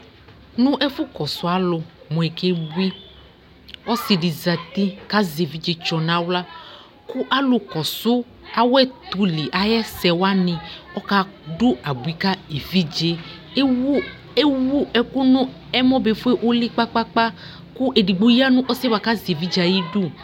Nʋ ɛfʋkɔsʋ alʋ mʋ ekebui Ɔsɩ dɩ zati kʋ azɛ evidzetsɔ nʋ aɣla kʋ alʋkɔsʋ awʋɛtʋli ayʋ ɛsɛ wanɩ ɔkadʋ abui ka evidze yɛ Ewu ewu ɛkʋ nʋ ɛmɔ befue ʋlɩ kpa-kpa-kpa kʋ edigbo ya nʋ ɔsɩ yɛ bʋa kʋ azɛ evidze yɛ ayidu